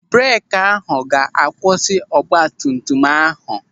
Breeki ahụ ga-akwụsị ọgbatumtum ahụ.